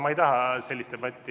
Ma ei taha sellist debatti.